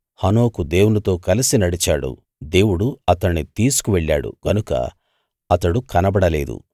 హనోకు దేవునితో కలసి నడిచాడు దేవుడు అతణ్ణి తీసుకువెళ్ళాడు గనుక అతడు కనబడలేదు